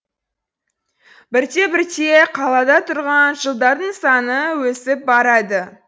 бірте бірте қалада тұрған жылдардың саны өсіп барады